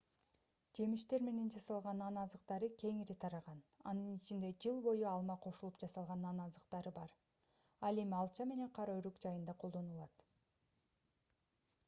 жемиштер менен жасалган нан азыктары кеңири тараган анын ичинде жыл бою алма кошулуп жасалган нан азыктары бар ал эми алча менен кара өрүк жайында колдонулат